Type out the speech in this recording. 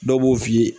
Dɔw b'o f'i ye